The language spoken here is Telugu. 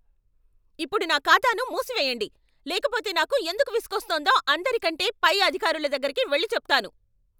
ఇప్పుడు నా ఖాతాను మూసెయ్యండి, లేకపోతే నాకు ఎందుకు విసుగోస్తోందో అందరికంటే పై అధికారుల దగ్గరకి వెళ్లి చెప్తాను.